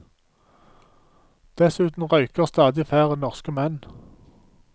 Dessuten røyker stadig færre norske menn.